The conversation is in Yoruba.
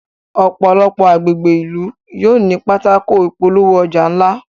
òpòlopò agbègbè ilú yóò ní Pátákó ìpolówó-ọjà ńlá